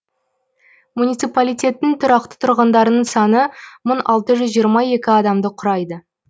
муниципалитеттің тұрақты тұрғындарының саны мың алты жүз жиырма екі адамды құрайды